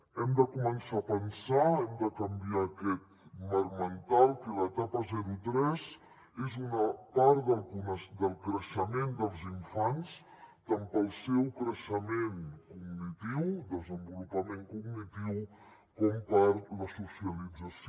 hem de començar a pensar hem de canviar aquest marc mental que l’etapa zero tres és una part del creixement dels infants tant pel seu creixement cognitiu desenvolupament cognitiu com per la socialització